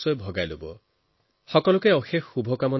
আপোনালোক সকলোকে বহুত বহুত শুভকামনা